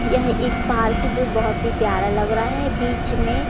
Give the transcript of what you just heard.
यह एक पार्किंग जो बहोत ही प्यारा लग रहा है बीच में--